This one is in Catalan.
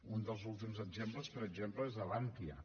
un dels últims exemples per exemple és d’abantia